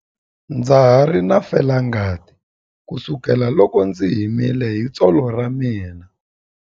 Ndza ha ri na felangati kusukela loko ndzi himile hi tsolo ra mina.